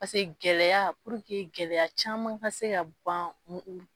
Paseke gɛlɛya purke gɛlɛya caman ka se ka ban mu